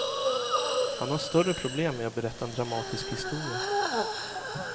Han har större problem med att berätta en dramatisk historia.